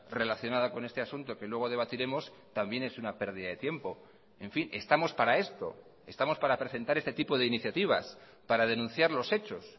relacionada con este asunto que luego debatiremos también es una pérdida de tiempo en fin estamos para esto estamos para presentar este tipo de iniciativas para denunciar los hechos